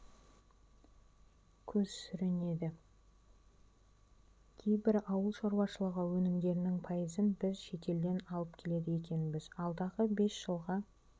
көз сүрінеді кейбір ауыл шаруашылығы өнімдерінің пайызын біз шетелден алып келеді екенбіз алдағы бес жылға